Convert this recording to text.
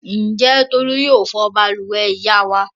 Ǹjẹ́ Tolú yóò fọ balùwẹ̀ ìyá wa?